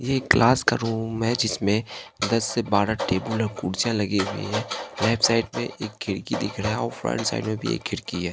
ये क्लास का रूम है जिसमें दस से बारह टेबल और कुर्सियां लगी हुई हैं लेफ्ट साइड में एक खिड़की दिख रहा और फ्रंट साइड में भी एक खिड़की है।